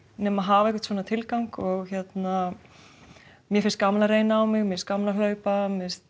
nema að hafa einhvern tilgang mér finnst gaman að reyna á mig mér gaman að hlaupa